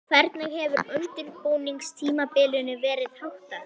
Hvernig hefur undirbúningstímabilinu verið háttað?